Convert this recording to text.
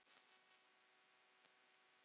Já, þetta er ágætt.